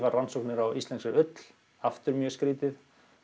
rannsóknir á íslenskri ull aftur mjög skrítið